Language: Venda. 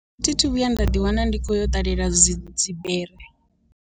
Thi thu vhuya nda ḓi wana ndi khoya u ṱalela dzi dzi bere.